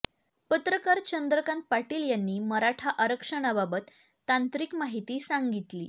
पत्रकार चंद्रकांत पाटील यांनी मराठा आरक्षणाबाबत तांत्रिक माहिती सांगितली